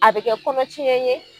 A be kɛ kɔnɔ tiɲɛ ye